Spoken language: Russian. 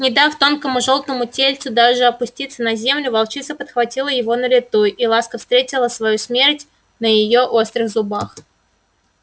не дав тонкому жёлтому тельцу даже опуститься на землю волчица подхватила его на лету и ласка встретила свою смерть на её острых зубах